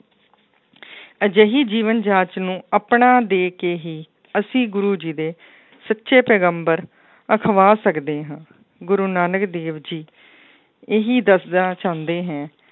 ਅਜਿਹੀ ਜੀਵਨ ਜਾਂਚ ਨੂੰ ਆਪਣਾ ਦੇ ਕੇ ਹੀ ਅਸੀਂ ਗੁਰੂ ਜੀ ਦੇ ਸੱਚੇ ਪੈਗੰਬਰ ਅਖਵਾ ਸਕਦੇ ਹਾਂ ਗੁਰੂ ਨਾਨਕ ਦੇਵ ਜੀ, ਇਹੀ ਦੱਸਣਾ ਚਾਹੁੰਦੇ ਹੈ,